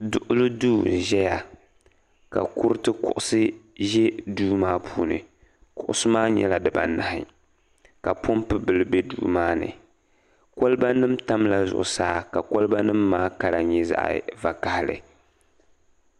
duɣli duu n ʒeya ka kuriti kuɣusi ʒɛ duu maa puuni kuɣusi maa nyela di baa anahi ka pompi bila be duu maa ni koliba nima tamla zuɣsaa ka koliba nima maa kala nyɛ zaɣa vakahalu